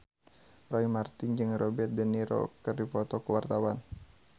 Roy Marten jeung Robert de Niro keur dipoto ku wartawan